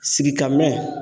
Sigikaminɛn.